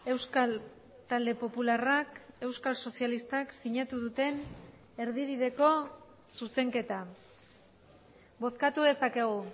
euskal talde popularrak euskal sozialistak sinatu duten erdibideko zuzenketa bozkatu dezakegu